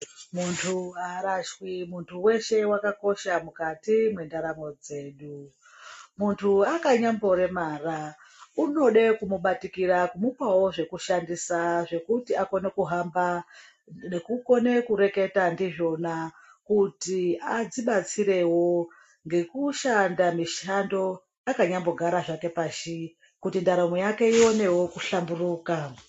Muntu haarashwi. Muntu weshe wakakosha mukati mwendaramo dzedu. Muntu akanyamboremara, unode kumubatikira ,kumupawo zvekushandisa zvekuti akone kuhamba nekukone kureketa ndizvona kuti adzibatsirewo ngekushanda mishando akanyambogara zvake pashi kuti ndaramo yake iwanewo kuhlamburuka.